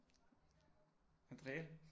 Andrea